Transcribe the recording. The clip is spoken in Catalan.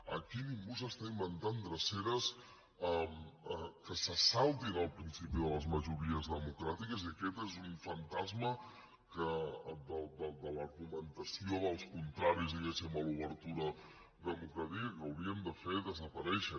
aquí ningú s’està inventant dreceres que se saltin el principi de les majories democràtiques i aquest és un fantasma de l’argumentació dels contraris diguem ne a l’obertura democràtica que hauríem de fer desaparèixer